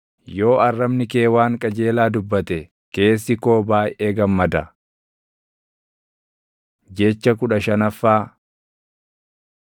yoo arrabni kee waan qajeelaa dubbate, keessi koo baayʼee gammada. Jecha kudha shanaffaa